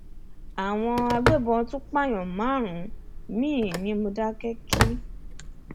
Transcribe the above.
àwọn agbébọn tún pààyàn márùnún míì ní mòdákẹkí